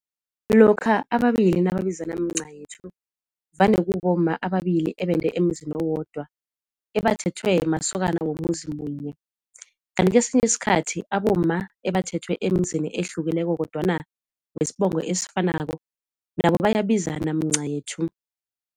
Lokha ababili nababizana mncayethu vane kubomma ababili ebende emzini owodwa ebathethwe masokana womuzi munye. Kanti kesinye isikhathi abomma ebathethwe emzini ehlukeneko kodwana wesibongo esifanako nabo bayabizana mncayethu.